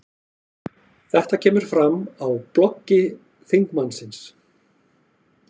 Þetta kemur fram á bloggi þingmannsins